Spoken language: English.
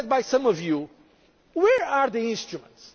this is the point I want to make as well, because,